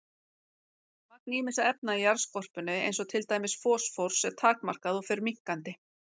Magn ýmissa efna í jarðskorpunni eins og til dæmis fosfórs er takmarkað og fer minnkandi.